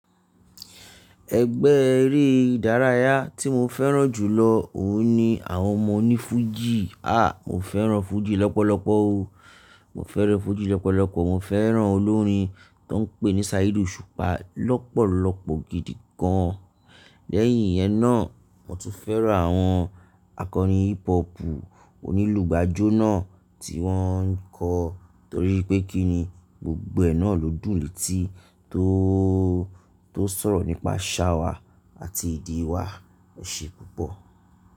Ẹgbẹ́ eré ìdárayá tí mo fẹ́ràn jù lọ òun ni àwọn ọmọ onífújì. A! Mo fẹ́ràn fújì lọ́pọ̀lọpọ̀ o. Mo fẹ́ràn fújì lọ́pọ̀lọpọ̀. Mo fẹ́ràn olórin tó ń pè ní Saheed Òṣùpá lọ́pọ̀lọpọ̀ gidi gan. Lẹ́yìn yẹn náà, mo tún fẹ́ràn àwọn akọrin hip hopu onílùgbàjọ náà tí wọ́n ń kọ, torí pé kí ni gbogbo ẹ̀ náà ló dùn létí tó, tó sọ̀rọ̀ nípa ṣáwà àti ìdí wà, eṣe púpọ̀.